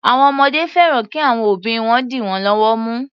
Àwọn ọmọdé fẹ́ran kí àwọn òbí wọn dì wọ́n lọ́wọ́ mú.